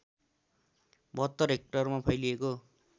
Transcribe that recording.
७२ हेक्टरमा फैलिएको